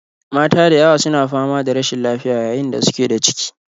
Mata da yawa su na fama da rashin lafiya yayin da suke da ciki